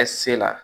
Ɛ se la